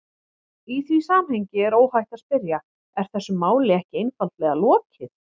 Í því samhengi er óhætt að spyrja: Er þessu máli ekki einfaldlega lokið?